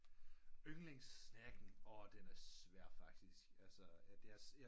Yndlings snacken den er svær faktisk altså at det